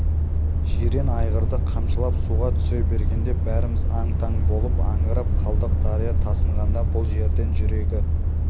жирен айғырды қамшылап суға түсе бергенде бәріміз аң-таң болып аңырып қалдық дария тасығанда бұл жерден жүрегі